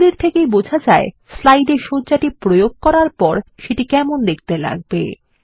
এগুলির থেকে বোঝা যায় স্লাইডে সজ্জাটি প্রয়োগ করার পর সেটি কেমন দেখতে লাগবে